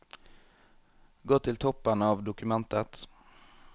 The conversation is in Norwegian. Gå til toppen av dokumentet